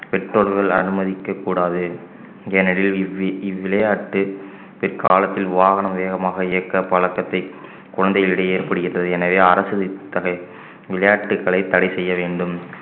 பெற்றோர்கள் அனுமதிக்கக் கூடாது எனவே இவ்வி~ இவ்விளையாட்டு பிற்காலத்தில் வாகனம் வேகமாக இயக்க பழக்கத்தை குழந்தைகளிடையே ஏற்படுகின்றது எனவே அரசு இத்தகைய விளையாட்டுக்களை தடை செய்ய வேண்டும்